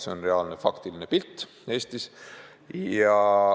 Selline on reaalne, faktiline pilt Eestis.